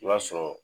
I b'a sɔrɔ